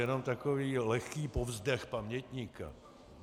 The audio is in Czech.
Jenom takový lehký povzdech pamětníka.